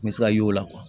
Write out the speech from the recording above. N bɛ se ka y'o la